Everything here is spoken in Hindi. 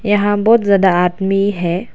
यहां बहुत ज्यादा आदमी है।